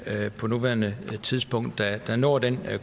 på nuværende tidspunkt der har nået den